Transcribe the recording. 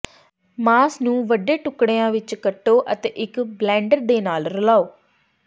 ਮਾਸ ਨੂੰ ਵੱਡੇ ਟੁਕੜਿਆਂ ਵਿੱਚ ਕੱਟੋ ਅਤੇ ਇੱਕ ਬਲੈਨਡਰ ਦੇ ਨਾਲ ਰਲਾਉ